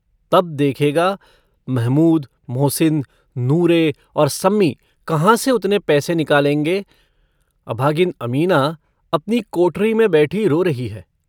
तब देखेगा महमूद मोहसिन नूरे और सम्मी कहाँ से उतने पैसे निकालेंगे अभागिन अमीना अपनो कोठरी में बैठी रो रही है।